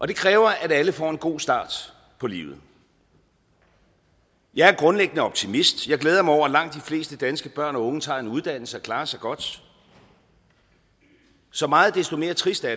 det kræver at alle får en god start på livet jeg er grundlæggende optimist jeg glæder mig over at langt de fleste danske børn og unge tager en uddannelse og klarer sig godt så meget desto mere trist er